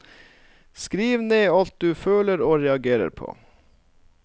Skriv ned alt du føler og reagerer på.